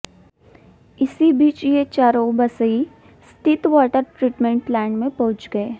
इसी बीच ये चारों बसर्इ स्थित वाटर ट्रीटमेंट प्लांट में पहुंच गए